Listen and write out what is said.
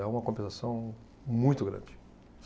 É uma compensação muito grande.